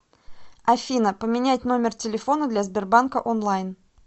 афина поменять номер телефона для сбербанка онлайн